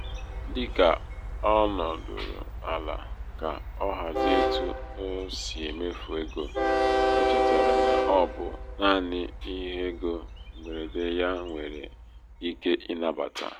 dị ka ọ nọdụrụ ala ka ọ hazie etu ọ si emefu ego o chetara na ọ bụ naanị ihe égo mgberede ya nwéré ike ịnabata.